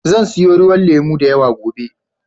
Zan siyo ruwan lemo da yawa gobe.